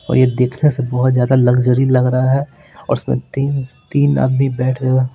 और यह देखने से बहुत ज्यादा लग्जरी लग रहा है और इसमें तीन तीन आदमी बैठे हुए--